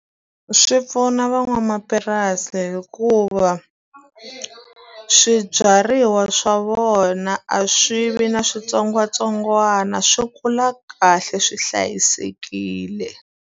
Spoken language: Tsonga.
Swi pfuna van'wamapurasi hikuva, swibyariwa swa vona a swi vi na switsongwatsongwana. Swi kula kahle swi hlayisekile.